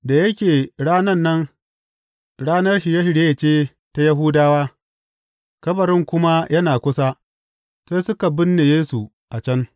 Da yake ranan nan, ranar Shirye shirye ce ta Yahudawa, kabarin kuma yana kusa, sai suka binne Yesu a can.